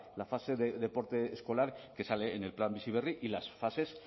la fase de deporte escolar que sale en el plan bizi berri y las fases